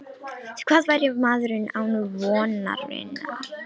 Því hvað væri maðurinn án vonarinnar?